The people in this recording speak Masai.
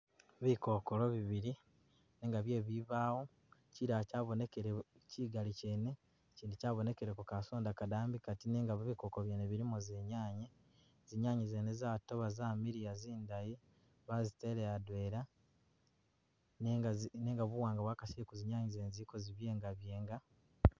Bikokolo bibili nenga bye bibawo kyilala kyabonekele kyigali kyene kyindi kyabonekeleko kasonda kadambi kati nenga bikoko byene bilimo zinyanya , zinyanya zene zatoba zamiliya zindayi bazitele adwela nenga buwanga bwakasile kuzinyanya zene ziliko zibyengabyenga.